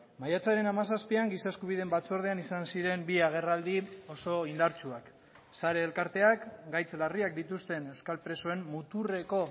maiatzaren hamazazpian giza eskubideen batzordean izan ziren bi agerraldi oso indartsuak sare elkarteak gaitz larriak dituzten euskal presoen muturreko